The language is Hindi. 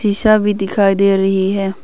शीशा भी दिखाई दे रही है।